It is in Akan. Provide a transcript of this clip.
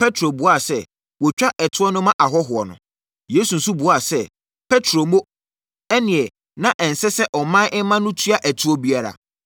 Petro buaa sɛ, “Wɔtwa ɛtoɔ no ma ahɔhoɔ no.” Yesu nso buaa sɛ, “Petro mo! Ɛnneɛ na ɛnsɛ sɛ ɔman mma no tua ɛtoɔ biara.